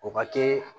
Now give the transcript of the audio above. O ka teli